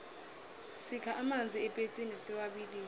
sikha amanzi epetsini siwabilise